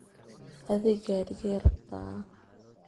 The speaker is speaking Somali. Adhi garige rabtaa?